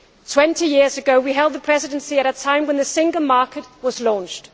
Twenty years ago, we held the Presidency at a time when the Single Market was launched.